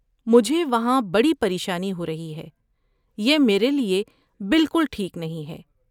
مجھے وہاں بڑی پریشانی ہو رہی ہے۔ یہ میرے لئے بالکل ٹھیک نہیں ہے